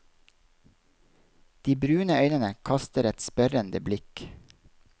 De brune øynene kaster et spørrende blikk.